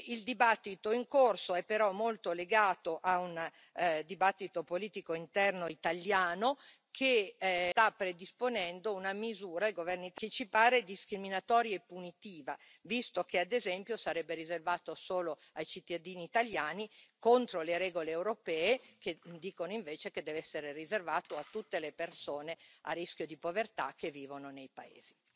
Il dibattito in corso è però molto legato a un dibattito politico interno italiano che sta predisponendo una misura che ci pare discriminatoria e punitiva, visto che ad esempio sarebbe riservato solo ai cittadini italiani, contro le regole europee, che dicono invece che deve essere riservato a tutte le persone a rischio di povertà che vivono nei paesi.